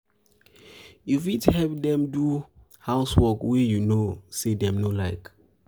you fit help them do house wrok wey you know sey dem no like